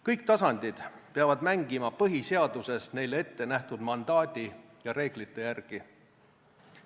Kõik tasandid peavad mängima põhiseaduses neile ette nähtud mandaadi ja reeglite järgi.